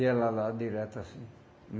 E ela lá direto assim.